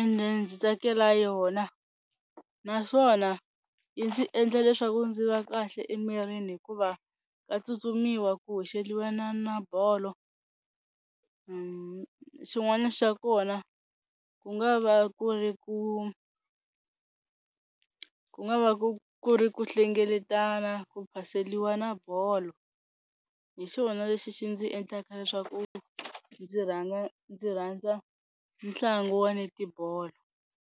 ende ndzi tsakela yona naswona yi ndzi endla leswaku ndzi va kahle emirini hikuva ka tsutsumisiwa ku hoxeliwana na bolo, xin'wana xa kona ku nga va ku ri ku ku nga va ku ri ku hlengeletana, ku phaseliwana bolo, hi xona lexi xi ndzi endlaka leswaku ndzi rhandza ndzi rhandza ntlangu wa netibolo.